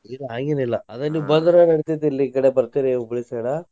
ಇಲ್ಲಾ ಹಾಗೆನಿಲ್ಲಾ ಅದ ನೀವ್ ಬಂದ್ರ ನಡಿತೇತಿ ಇಲ್ಲಿ ಈಕಡೆ ಬರ್ತೀರಿ Hubli side .